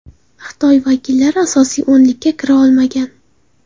Xitoy vakillari asosiy o‘nlikka kira olmagan.